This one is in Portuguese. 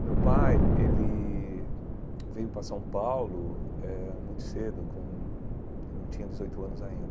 O meu pai, ele veio para São Paulo eh muito cedo, com ele não tinha dezoito anos ainda.